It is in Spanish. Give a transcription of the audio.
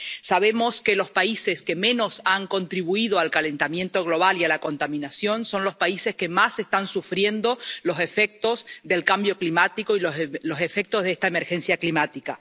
Sabemos que los países que menos han contribuido al calentamiento global y a la contaminación son los países que más están sufriendo los efectos del cambio climático y los efectos de esta emergencia climática.